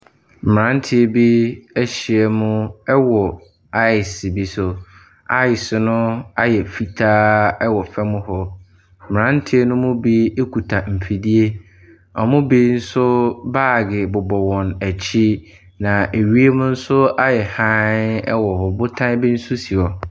Mmeranteɛ bi ahyia mu wɔ ice bi so, ice no ayɛ fitaa wɔ fam hɔ. Mmeranteɛ ne mu bi kita mfidie, wɔn mu bi nso baage bobɔ wɔn akyi. Na wiem nso ayɛ hann wɔ hɔ, botan bi nso si hɔ.